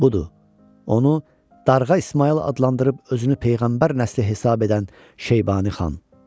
Budur, onu Darğa İsmayıl adlandırıb özünü Peyğəmbər nəsli hesab edən Şeybani xan.